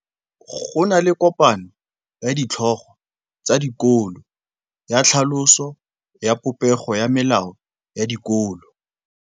Go na le kopanô ya ditlhogo tsa dikolo ya tlhaloso ya popêgô ya melao ya dikolo.